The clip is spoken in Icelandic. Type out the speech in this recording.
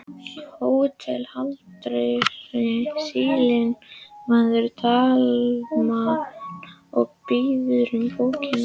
HÓTELHALDARI: Sýslumaður Dalamanna biður um bókina.